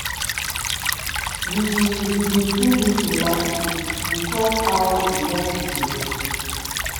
we we bin do meeting last week we tok how we wan fix di road.